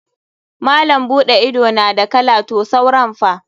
Malam buɗe ido na da kala to sauran fa?